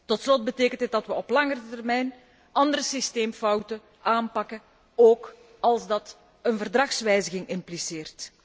Tot slot betekent dit dat we op langere termijn andere systeemfouten aanpakken, ook als dat een Verdragswijziging impliceert.